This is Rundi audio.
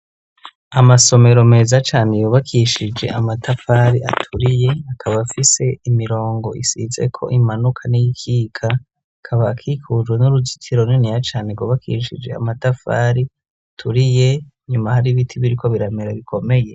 Amasomero meza cane yubakishije amatafari aturiye, akaba afise imirongo isizeko imanuka n'y'ikika. Akaba akikujwe n'uruzitiro runiniya cane rwubakishije amatafari aturiye. Inyuma hari ibiti biriko biramera bikomeye.